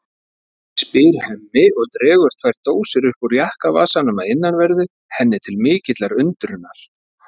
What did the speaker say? spyr Hemmi og dregur tvær dósir upp úr jakkavasanum að innanverðu henni til mikillar undrunar.